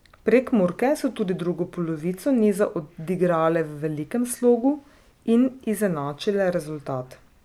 Prekmurke so tudi drugo polovico niza odigrale v velikem slogu in izenačile rezultat.